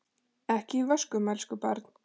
Ekki í vöskum, elsku barn.